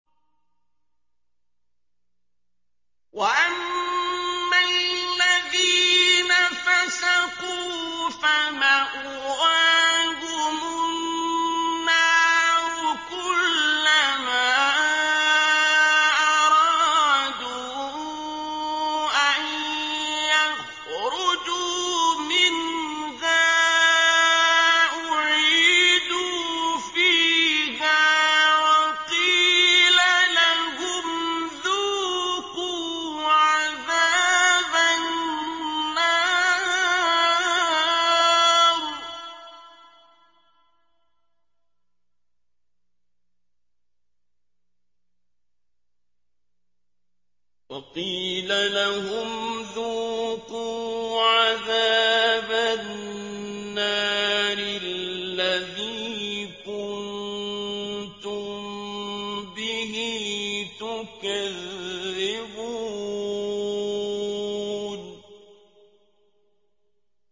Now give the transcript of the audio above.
وَأَمَّا الَّذِينَ فَسَقُوا فَمَأْوَاهُمُ النَّارُ ۖ كُلَّمَا أَرَادُوا أَن يَخْرُجُوا مِنْهَا أُعِيدُوا فِيهَا وَقِيلَ لَهُمْ ذُوقُوا عَذَابَ النَّارِ الَّذِي كُنتُم بِهِ تُكَذِّبُونَ